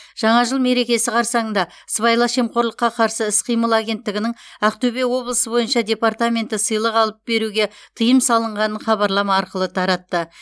жаңа жыл мерекесі қарсаңында сыбайлас жемқорлыққа қарсы іс қимыл агенттігінің ақтөбе облысы бойынша департаменті сыйлық алып беруге тыйым салынғанын хабарлама арқылы таратты